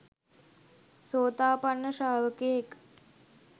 සෝතාපන්න ශ්‍රාවකයෙක්